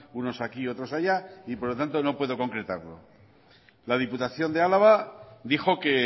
unos aquí otros allá y por lo tanto no puedo concretarlo la diputación de álava dijo que